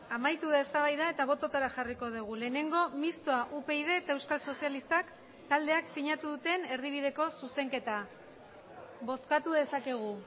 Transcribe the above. amaitu da eztabaida eta bototara jarriko dugu lehenengo mistoa upyd eta euskal sozialistak taldeak sinatu duten erdibideko zuzenketa bozkatu dezakegu